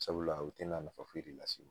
Sabula o tina nafa foyi de las'i ma